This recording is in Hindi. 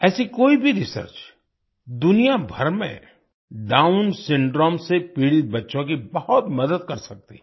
ऐसी कोई भी रिसर्च दुनिया भर में डाउन सिंड्रोम से पीड़ित बच्चों की बहुत मदद कर सकती है